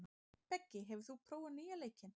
Beggi, hefur þú prófað nýja leikinn?